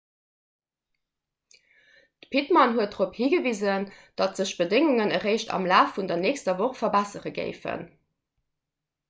d'pittman huet dorop higewisen datt sech d'bedéngungen eréischt am laf vun der nächster woch verbessere géifen